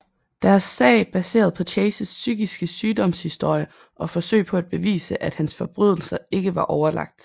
Deres sag baseret på Chases psykiske sygdoms historie og forsøg på at bevise at hans forbrydelser ikke var overlagt